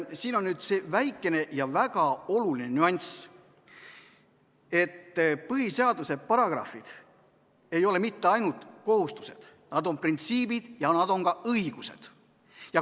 Siin on see väikene ja väga oluline nüanss, et põhiseaduse paragrahvid ei ole mitte ainult kohustused, nad on printsiibid ja nad on ka õigused.